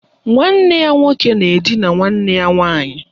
Nwanne ya nwoke na edina nwanne ya nwaanyị